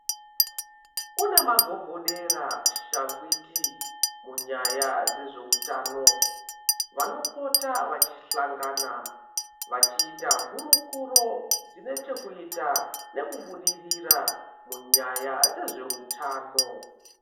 Kune magogodera, shangwiti munyaya dzezveutano. Vanopota vachihlangana vachiita hurukuro dzine chekuita nekubudirira munyaya dzezveutano.